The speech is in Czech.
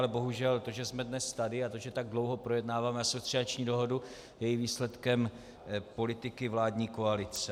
Ale bohužel, to že jsme dnes tady, a to, že tak dlouho projednáváme asociační dohodu, je i výsledkem politiky vládní koalice.